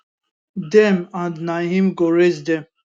dem and na im go raise dem